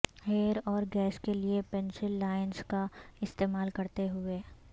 hair اور گیس کے لئے پنسل لائنز کا استعمال کرتے ہوئے